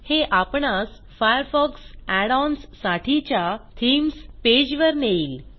हे आपणास Firefox add ons साठीच्या थीम्स पेजवर नेईल